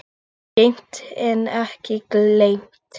Geymt en ekki gleymt